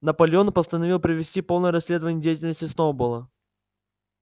наполеон постановил провести полное расследование деятельности сноуболла